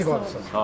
Allah sizi qorusun.